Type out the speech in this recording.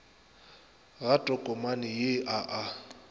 ga tokomane ye a a